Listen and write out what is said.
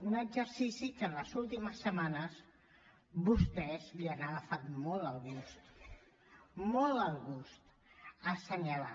un exercici que en les ultimes setmanes vostès li han agafat molt el gust molt el gust a assenyalar